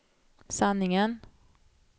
sanningen